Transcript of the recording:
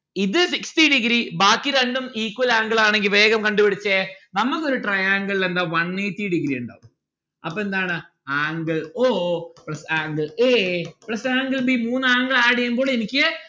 ഇത് sixty degree ബാക്കി രണ്ടും equal ആണെങ്കിൽ വേഗം കണ്ടു പിടിച്ചേ നമ്മക്കൊരു triangle ല് എന്താ one eighty degree ഇണ്ടാവും. അപ്പൊ എന്താണ് angle o plus angle a plus angle b മൂന്ന് angle add എയ്യുമ്പോ എനിക്ക്